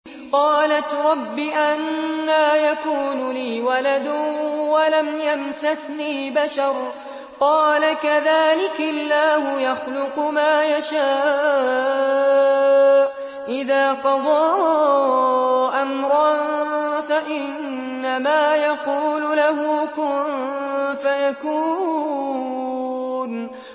قَالَتْ رَبِّ أَنَّىٰ يَكُونُ لِي وَلَدٌ وَلَمْ يَمْسَسْنِي بَشَرٌ ۖ قَالَ كَذَٰلِكِ اللَّهُ يَخْلُقُ مَا يَشَاءُ ۚ إِذَا قَضَىٰ أَمْرًا فَإِنَّمَا يَقُولُ لَهُ كُن فَيَكُونُ